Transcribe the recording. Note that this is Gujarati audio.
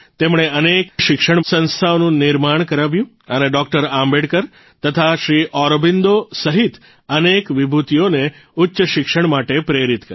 તેમણે અનેક શિક્ષણ સંસ્થાઓનું નિર્માણ કરાવ્યું અને ડોકટર આંબેડકર તથા શ્રી અરબિંદો સહિત અનેક વિભૂતિઓને ઉચ્ચ શિક્ષણ માટે પ્રેરિત કરી